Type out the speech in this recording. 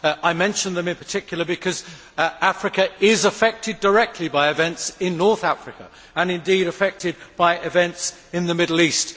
I mention them in particular because Africa is affected directly by events in North Africa, and indeed by events in the Middle East.